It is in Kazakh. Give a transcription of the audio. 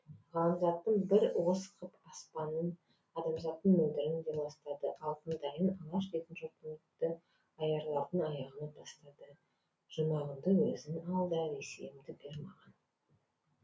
ғаламзаттың бір уыс қып аспанын адамзаттың мөлдірін де ластады алтындайын алаш дейтін жұртымдыаярлардың аяғына тастады жұмағыңды өзің ал да ресейімді бер маған